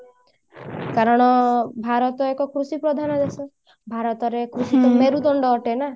କାରଣ ଭାରତ ଏକ କୃଷି ପ୍ରଧାନ ଦେଶ ଭାରତ ରେ କୃଷି ତ ମେରୁଦଣ୍ଡ ଅଟେ ନା